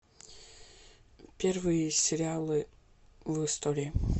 первые сериалы в истории